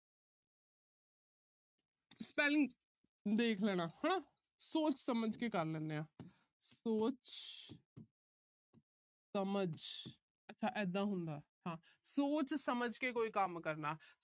spelling ਦੇਖ ਲੈਣਾ ਹਨਾ। ਸੋਚ ਸਮਝ ਕੇ ਕਰ ਲੈਂਦੇ ਆ। ਸੋਚ ਸਮਝ, ਅੱਛਾ ਇਦਾ ਹੁੰਦਾ। ਸੋਚ ਸਮਝ ਕੇ ਕੋਈ ਕੰਮ ਕਰਨਾ।